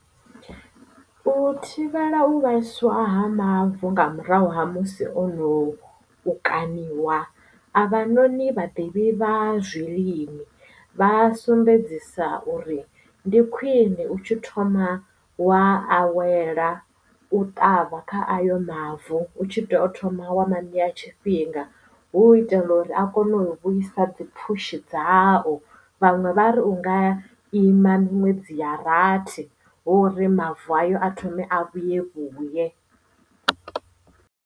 U thivhela u vhaiswa ha mavu nga murahu ha musi ono u kaniwa a vha noni vhaḓivhi vha zwilimi vha sumbedzisa uri ndi khwine u tshi thoma wa awela u ṱavha kha ayo mavu hu tshi teo thoma wa manea tshifhinga hu u itela uri a kone u vhuisa dzi pfushi dzao vhaṅwe vha ri unga ima muṅwe dziya rathi hu hri mavu ayo a thome a vhuye vhuye.